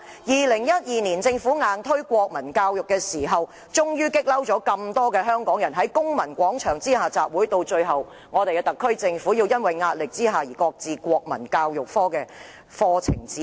2012年，政府強行推出《德育及國民教育科課程指引》，惹怒很多香港人，群起在公民廣場集會，特區政府最終在壓力下而擱置課程指引。